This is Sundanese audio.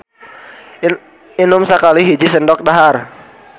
Inum sakali hiji sendok dahar.